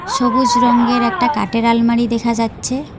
সবুজ রঙের একটা কাটের আলমারি দেখা যাচ্ছে।